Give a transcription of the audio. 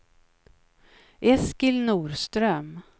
Eskil Norström